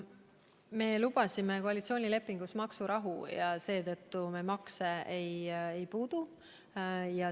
Me lubasime koalitsioonilepingus maksurahu ja seetõttu me makse ei puutu.